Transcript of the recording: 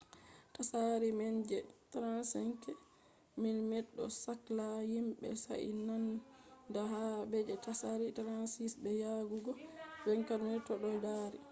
tsari man je 35mm ɗo sakla himɓe sai nanda ba je tsari 36mm be yajugo 24mm to ɗo dari